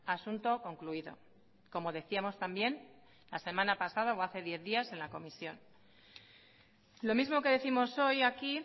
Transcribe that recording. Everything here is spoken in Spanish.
asunto concluido como decíamos también la semana pasada o hace diez días en la comisión lo mismo que décimos hoy aquí